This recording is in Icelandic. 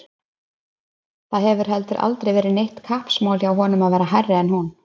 Það hefur heldur aldrei verið neitt kappsmál hjá honum að vera hærri en hún.